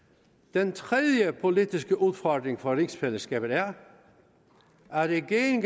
den tredje politiske udfordring for rigsfællesskabet er at regeringen